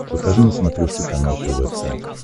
покажи на смотрешке канал тв центр